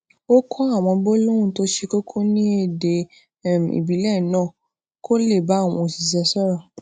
ó kó àwọn gbólóhùn to se koko ní èdè um ìbílè náà kó lè bá àwọn osise sòrò